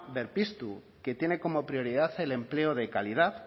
berpiztu que tiene como prioridad el empleo de calidad